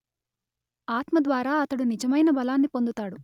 ఆత్మద్వారా అతడు నిజమైన బలాన్ని పొందుతాడు